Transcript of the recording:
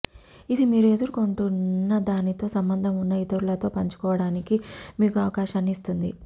ఇది మీరు ఎదుర్కొంటున్నదానితో సంబంధం ఉన్న ఇతరులతో పంచుకోవడానికి మీకు అవకాశాన్ని ఇస్తుంది